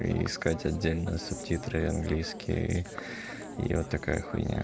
искать отдельно субтитры английский и вот такая хуйня